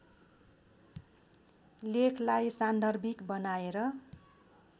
लेखलाई सान्दर्भिक बनाएर